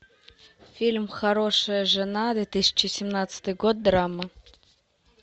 фильм хорошая жена две тысячи семнадцатый год драма